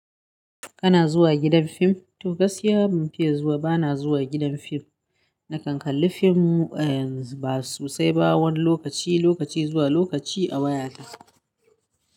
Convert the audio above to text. Kana zuwa gidan fim? To gaskiya ban fiye zuwa ba na zuwa gidan fim. Na kan kalli fim e ba so sai ba wani lokaci, lokaci zuwa lokaci a wayata.